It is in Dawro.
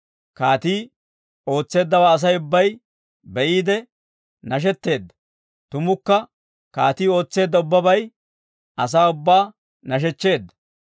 Kaatii ootseeddawaa Asay ubbay be'iide nashetteedda; tumukka kaatii ootseedda ubbabay asaa ubbaa nashechcheedda.